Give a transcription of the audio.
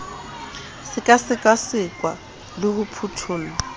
se sekasekwa le ho phuthollwa